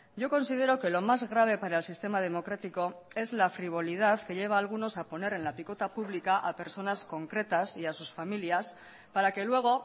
yo considero que lo más grave para el sistema democrático es la frivolidad que lleva a algunos a poner en la picota pública a personas concretas y a sus familias para que luego